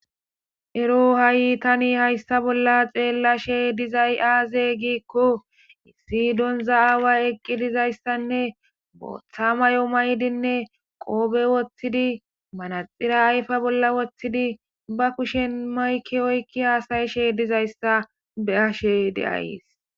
Ero ha'i tani hayssa bolla xeellashe dizay aaze giikko issi donza aaway eqqi dizayssanne booththa may'o maydinne qoobe woththidi manaxira ayfa bolla woththidi ba kushen mayki oykki haasayishe dizayssa be ashe deays